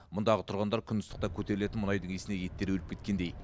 мұндағы тұрғындар күн ыстықта көтерілетін мұнайдың иісіне еттері өліп кеткендей